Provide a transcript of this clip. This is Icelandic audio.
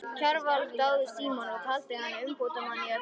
Kjarval dáði Símon og taldi hann umbótamann í öllu.